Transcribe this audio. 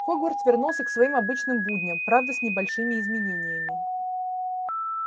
хогвартс вернулся к своим обычным будням правда с небольшими изменениями